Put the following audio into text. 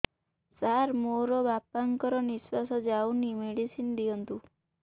ସାର ମୋର ବାପା ଙ୍କର ନିଃଶ୍ବାସ ଯାଉନି ମେଡିସିନ ଦିଅନ୍ତୁ